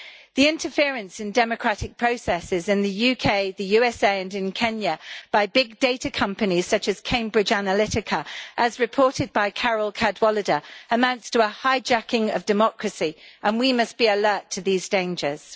The interference in democratic processes in the UK, the USA and in Kenya by big data companies such as Cambridge Analytica, as reported by Carole Cadwalladr, amounts to a hijacking of democracy, and we must be alert to these dangers.